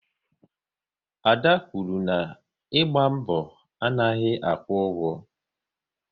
Ada kwuru na "ịgba mbọ anaghị akwụ ụgwọ"